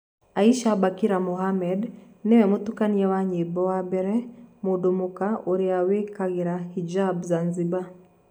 Aisha Bakari Mohamed niwe mũtũkania wa nyimbo wa mbere mũndũ mũka ũrĩa wĩkĩraga hijab Zanzibar.